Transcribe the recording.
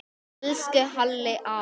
Elsku Halli afi.